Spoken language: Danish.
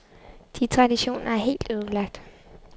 De traditioner er helt ødelagt.